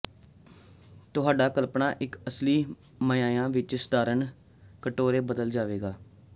ਤੁਹਾਡਾ ਕਲਪਨਾ ਇੱਕ ਅਸਲੀ ਮਾਅਨਿਆ ਵਿੱਚ ਸਧਾਰਨ ਕਟੋਰੇ ਬਦਲ ਜਾਵੇਗਾ